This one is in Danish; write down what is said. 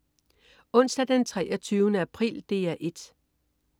Onsdag den 23. april - DR 1: